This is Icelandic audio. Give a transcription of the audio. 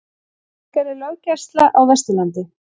Veikari löggæsla á Vesturlandi